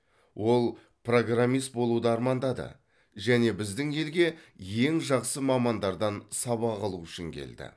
ол программист болуды армандады және біздің елге ең жақсы мамандардан сабақ алу үшін келді